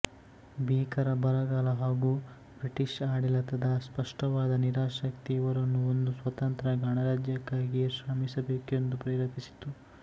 ಭೀಕರ ಬರಗಾಲ ಹಾಗೂ ಬ್ರಿಟಿಷ್ ಆಡಳಿತದ ಸ್ಪಷ್ಟವಾದ ನಿರಾಸಕ್ತಿ ಇವರನ್ನು ಒಂದು ಸ್ವತಂತ್ರ ಗಣರಾಜ್ಯಕ್ಕಾಗಿ ಶ್ರಮಿಸಬೇಕೆಂದು ಪ್ರೇರೇಪಿಸಿತು